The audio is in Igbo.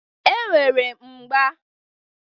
E nwere mgba.